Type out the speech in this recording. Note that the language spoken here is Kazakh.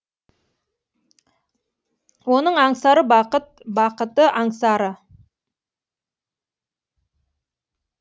оның аңсары бақыт бақыты аңсары